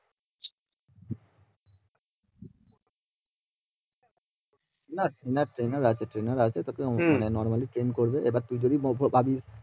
না female আছে female আছে মাঝে মাঝে প্রেম করবে